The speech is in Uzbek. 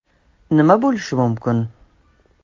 Nima bo‘lishi mumkin?